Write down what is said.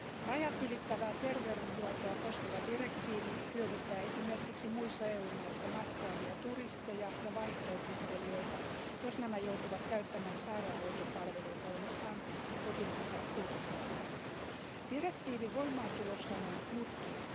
Rajatylittävää terveydenhuoltoa koskeva direktiivi hyödyttää esimerkiksi muissa EU maissa matkaavia turisteja ja vaihto opiskelijoita, jos nämä joutuvat käyttämään sairaanhoitopalveluita ollessaan kotimaansa ulkopuolella. Direktiivin voimaantulossa on ollut mutkia.